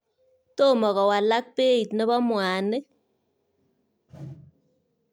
Tomo kowalak beit nebo mwanik.